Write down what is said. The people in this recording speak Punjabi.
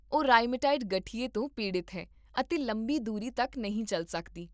ਉਹ ਰਾਇਮੇਟਾਇਡ ਗਠੀਏ ਤੋਂ ਪੀੜਤ ਹੈ ਅਤੇ ਲੰਬੀ ਦੂਰੀ ਤੱਕ ਨਹੀਂ ਚੱਲ ਸਕਦੀ